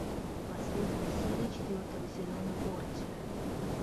последняя серия четвертого сезона борджиа